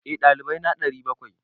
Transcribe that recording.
Eh, dalibai na 700.